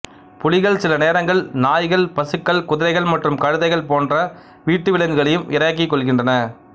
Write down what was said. புலிகள் சில நேரங்களில் நாய்கள் பசுக்கள் குதிரைகள் மற்றும் கழுதைகள் போன்ற வீட்டு விலங்குகளையும் இரையாக்கிக்கொள்கின்றன